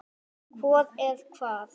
Hvor er hvað?